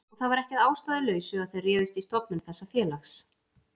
Og það var ekki að ástæðulausu að þær réðust í stofnun þessa félags.